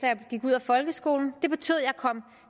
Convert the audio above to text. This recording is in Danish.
jeg gik ud af folkeskolen det betød jeg kom